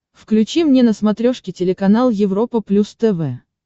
включи мне на смотрешке телеканал европа плюс тв